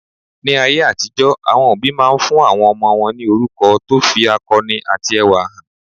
Ní ayé àtijó, àwọn òbí máa ń fún àwọn ọmọ wọn ní orúkọ tó fi akọni àti ẹwà hàn.